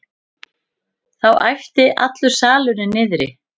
Þá æpti allur salurinn niðri.